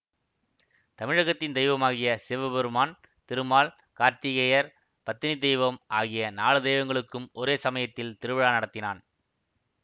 தமிழகத்தின் தெய்வமாகிய சிவபெருமான் திருமால் கார்த்திகேயர் பத்தினி தெய்வம் ஆகிய நாலு தெய்வங்களுக்கும் ஒரே சமயத்தில் திருவிழா நடத்தினான்